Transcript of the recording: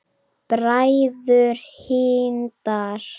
Bræður Hindar